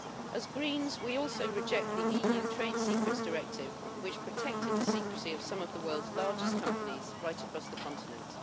As Greens we also reject the EU Trade Secrets Directive which protected the secrecy of some of the world's largest companies right across the continent.